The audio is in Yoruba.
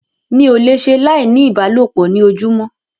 Mi ò le ṣe láì ní ìbálòpọ̀ ní ojúmọ́.